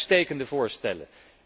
Allemaal uitstekende voorstellen.